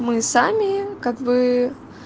мы сами как бы